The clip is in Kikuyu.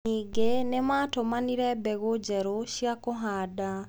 Ningĩ nĩ maatũmanire mbegũ njerũ cia kũhanda.